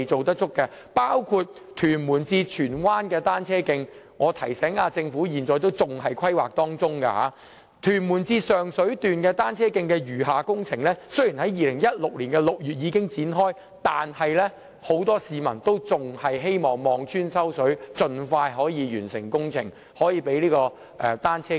當中包括屯門至荃灣的單車徑，我得提醒政府，該單車徑現時仍在規劃階段；還有屯門至上水段的單車徑的餘下工程，雖然已在2016年6月展開，但很多市民已望穿秋水，希望政府可以盡快完成相關工程，啟用單車徑。